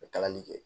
kalali kɛ